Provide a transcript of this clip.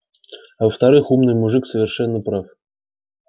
а во-вторых умный мужик совершенно прав